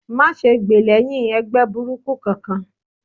Má gbè lẹ́hìn ẹgbẹ́ burúkú kankan!